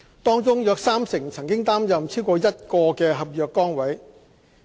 當中約三成曾擔任超過一個合約崗位。